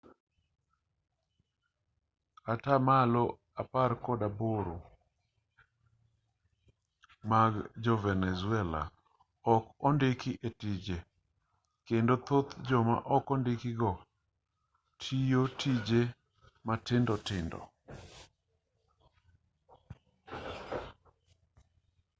atamalo apar kod aboro mag jo-venezuela ok ondiki e tije kendo thoth joma ok ondiki go tiyo tije matindo tindo